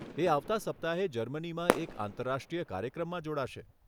એ આવતાં સપ્તાહે જર્મનીમાં એક આંતરરાષ્ટ્રીય કાર્યક્રમમાં જોડાશે.